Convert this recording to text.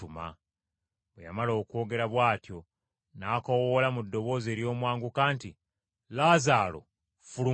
Bwe yamala okwogera bw’atyo, n’akoowoola mu ddoboozi ery’omwanguka nti, “Laazaalo fuluma.”